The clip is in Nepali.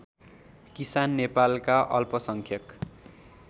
किसान नेपालका अल्पसंख्यक